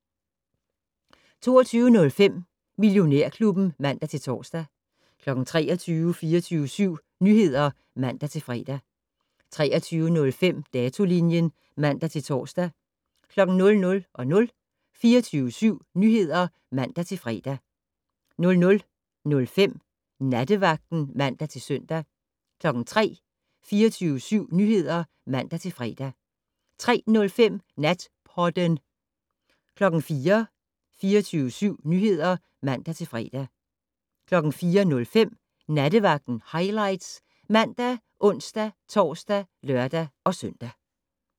22:05: Millionærklubben (man-tor) 23:00: 24syv Nyheder (man-fre) 23:05: Datolinjen (man-tor) 00:00: 24syv Nyheder (man-fre) 00:05: Nattevagten (man-søn) 03:00: 24syv Nyheder (man-fre) 03:05: Natpodden 04:00: 24syv Nyheder (man-fre) 04:05: Nattevagten Highlights ( man, ons-tor, lør-søn)